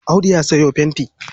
Audu ya sayo fentin.